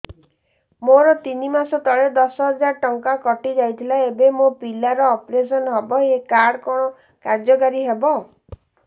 ମୋର ତିନି ମାସ ତଳେ ଦଶ ହଜାର ଟଙ୍କା କଟି ଯାଇଥିଲା ଏବେ ମୋ ପିଲା ର ଅପେରସନ ହବ ଏ କାର୍ଡ କଣ କାର୍ଯ୍ୟ କାରି ହବ